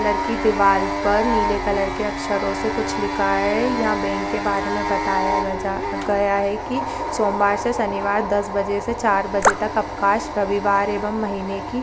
colour की दीवाल पर नीले कलर के अक्षरों से कुछ लिखा है यहां बैंक के बारे मे बताया ग जा गया है कि सोमवार से शनिवार दस बजे से चार बजे तक अवकाश रविवार एवं महिने की --